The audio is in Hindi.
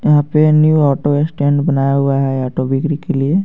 यहां पे न्यू ऑटो स्टैंड बनाया हुआ है ऑटो बिक्री के लिए.